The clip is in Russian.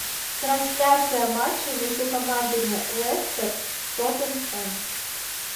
трансляция матча между командами лестер тоттенхэм